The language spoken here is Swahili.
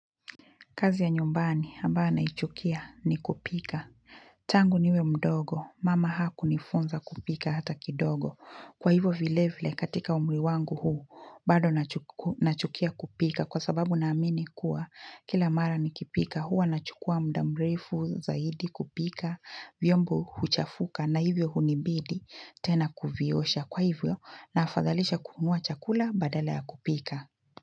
Kazi ya nyumbani ambayo naichukia ni kupika. Tangu niwe mdogo, mama hakunifunza kupika hata kidogo. Kwa hivyo vile vile katika umri wangu huu, bado nachukia kupika kwa sababu naamini kuwa kila mara nikipika. Huwa nachukua mda mrefu zaidi kupika, vyombo huchafuka na hivyo hunibidi tena kuviosha. Kwa hivyo nafadhalisha kununua chakula badala ya kupika.